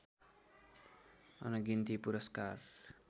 अनगिन्ती पुरस्कार